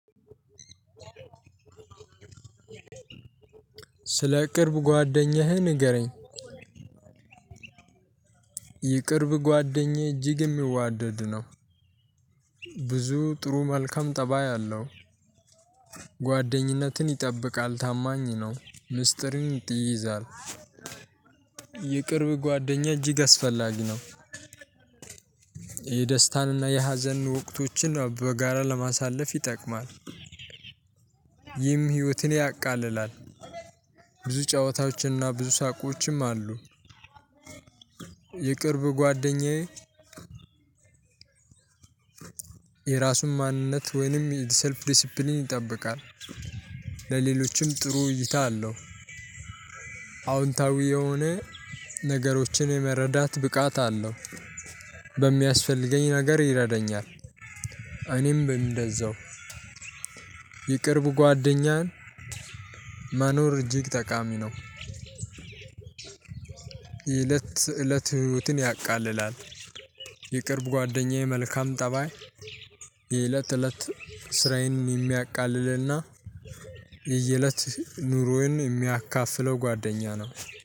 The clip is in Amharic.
ስለ ቅርብ ጓደኛህ ንገረኝ? የቅርብ ጓደኛዬ እጅግ የሚዋደድ ነው። ብዙ ጥሩ መልካም ጠባይ አለው። ጓደኝነትን ይጠብቃል ታማኝ ነው ሚስጥሪ ይይዛል። የቅርብ ጓደኛዬ እጅግ አስፈላጊ ነው። የደስታንና የሀዘንን ወቅቶችን በጋራ ለማሳለፍ ይጠቅማል። ይህም ህይወትን ያቃልላል። ብዙ ጫወታዎችን እና ብዙ ሳቆችም አሉ። የቅርብ ጓደኛዬ። የራሱን ማንነት ወይንም ሰልፍ ዲሲፕሊን ይጠብቃል። ለሌሎችም ጥሩ እይታ አለው። አዎንታዊ የሆነ ነገሮችን የመረዳት ብቃት አለው። በሚያስፈልገኝ ነገር ይረዳኛል። እኔም እንደዛው የቅርብ ጓደኛን መኖር እጅግ ጠቃሚ ነው። የለት ተእለት ህይወትን ያቃልላል። የቅርብ ጓደኛዬ መልካም ጠባይ የእለት ተእለት ስራዬን የሚያቃልልና የየእለት ኑሮዬን የሚያካፍለው ጓደኛ ነው።